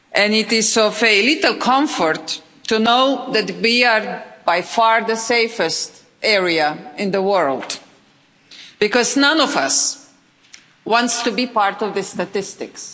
It is of little comfort to know that we are by far the safest area in the world, because none of us want to be part of the statistics.